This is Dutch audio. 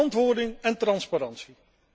Verantwoording en transparantie.